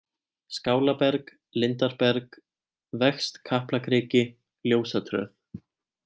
Skálaberg, Lindarberg, Vegst Kaplakriki, Ljósatröð